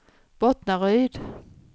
Bottnaryd